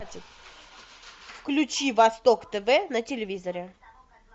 включи восток тв на телевизоре